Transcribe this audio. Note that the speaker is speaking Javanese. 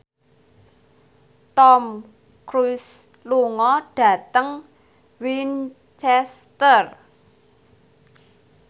Tom Cruise lunga dhateng Winchester